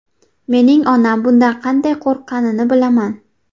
Mening onam bundan qanday qo‘rqqanini bilaman.